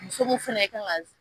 Muso ko fɛnɛ kan ka